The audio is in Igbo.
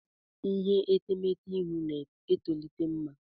Ihe etemeete ịhụ na-etolite mma.